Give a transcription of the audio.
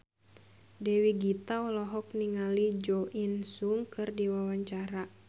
Dewi Gita olohok ningali Jo In Sung keur diwawancara